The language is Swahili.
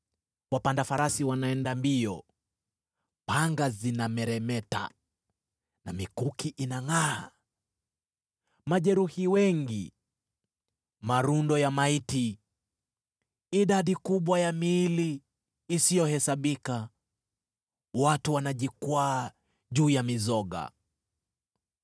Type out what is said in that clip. Wapanda farasi wanaenda mbio, panga zinameremeta, na mikuki inangʼaa! Majeruhi wengi, malundo ya maiti, idadi kubwa ya miili isiyohesabika, watu wanajikwaa juu ya mizoga: